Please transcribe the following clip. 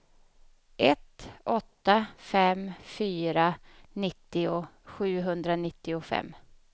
ett åtta fem fyra nittio sjuhundranittiofem